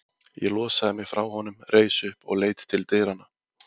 Ég losaði mig frá honum, reis upp og leit til dyranna.